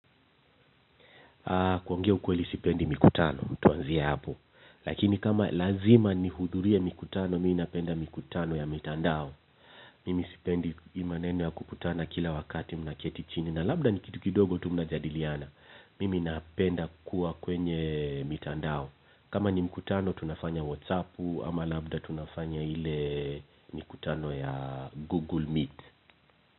Kuongea ukweli sipendi mikutano tuanzie hapo. Lakini kama lazima nihudhurie mikutano minapenda mikutano ya mitandao. Mimi sipendi hii maneno ya kukutana kila wakati mnaketi chini na labda ni kitu kidogo tu mnajadiliana. Mimi napenda kuwa kwenye mitandao. Kama ni mkutano tunafanya whatsappu ama labda tunafanya ile mikutano ya google meet.